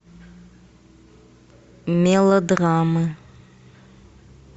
мелодрамы